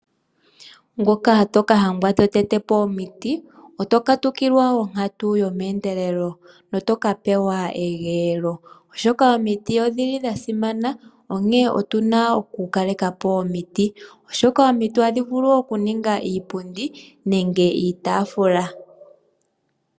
Ngoka toka hangwa to tete po omiti oto katukilwa onkatu yomeendelelo no toka pewa egeelo oshoka omiti odhili dha simana. Onkene otuna oku kalekapo omiti oshoka omiti ohadhi vulu oku ninga iipundi nenge iitaafula.